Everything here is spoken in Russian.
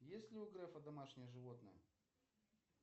есть ли у грефа домашнее животное